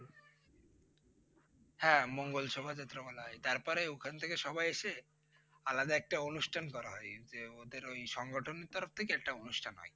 হ্যাঁ মঙ্গল শোভাযাত্রা বলা হয়। তারপরে ওখান থেকে সবাই এসে আলাদা একটা অনুষ্ঠান করা হয়, যে ওদের ওই সংগঠন এর তরফ থেকে একটা অনুষ্ঠান হয়।